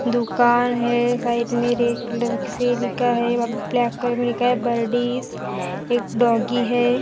दुकान है साइड में रेड कलर से लिखा है अब ब्लैक कलर में लिख है बरडीस। एक डॉगी है जो--